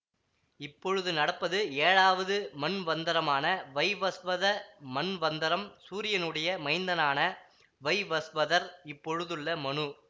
இப்பொழுது நடப்பது ஏழாவது மன்வந்தரமான வைவஸ்வத மன்வந்தரம் சூரியனுடைய மைந்தனான வைவஸ்வதர் இப்பொழுதுள்ள மனு